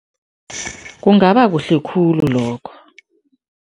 Kungaba kuhle khulu lokho.